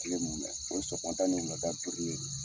Kile mumɛ o ye sɔgɔmada ni wulada